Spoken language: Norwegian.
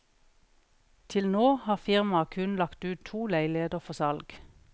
Til nå har firmaet kun lagt ut to leiligheter for salg.